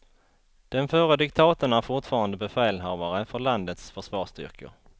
Den förre diktatorn är fortfarande befälhavare för landets försvarsstyrkor.